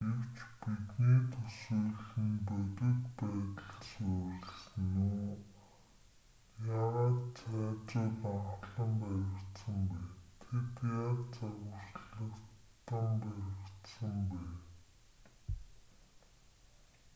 гэвч бидний төсөөлөл нь бодит байдал суурилсан үү? яагаад цайзууд анхлан баригдсан бэ?тэд яаж загварчлагдан баригдсан бэ?